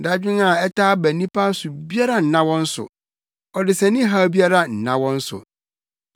Dadwen a ɛtaa ba nnipa so biara nna wɔn so; ɔdesani haw biara nna wɔn so.